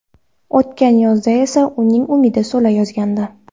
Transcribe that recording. O‘tgan yozda esa uning umidi so‘la yozgandi.